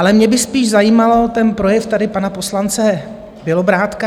Ale mě by spíš zajímal ten projev tady pana poslance Bělobrádka.